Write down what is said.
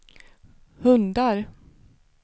hundar